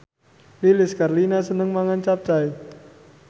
Lilis Karlina seneng mangan capcay